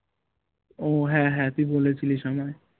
ও হ্যাঁ হ্যাঁ তুই বলেছিলিস আমায়